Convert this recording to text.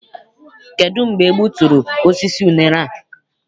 Kedụ mgbe e gbuturu osisi unere a?